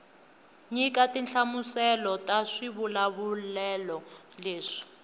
nyika tinhlamuselo ta swivulavulelo leswi